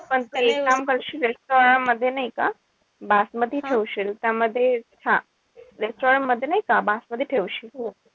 पण तू एक काम करशील यांच्यामध्ये नाई का बासमती ठेवशील त्यामध्ये त्याच्यामध्ये नाई का बासमती ठेवशील.